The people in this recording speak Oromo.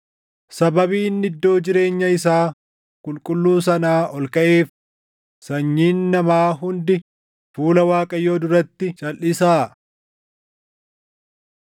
Sababii inni iddoo jireenya isaa qulqulluu sanaa ol kaʼeef, sanyiin namaa hundi fuula Waaqayyoo duratti calʼisaa.”